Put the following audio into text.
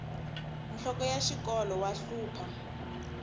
nhloko ya xikolo wa hlupha